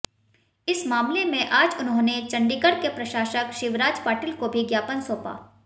इस मामले में आज उन्होंने चंडीगढ़ के प्रशासक शिवराज पाटिल को भी ज्ञापन सौंपा